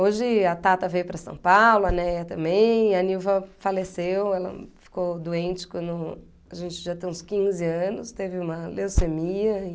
Hoje a Tata veio para São Paulo, a Neia também, a Nilva faleceu, ela ficou doente quando a gente já tem uns quinze anos, teve uma leucemia e...